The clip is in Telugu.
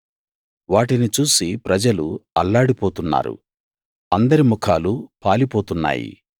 వాటిని చూసి ప్రజలు అల్లాడిపోతున్నారు అందరి ముఖాలు పాలిపోతున్నాయి